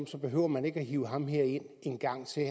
så behøver man ikke hive ham her ind en gang til